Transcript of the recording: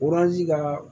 ka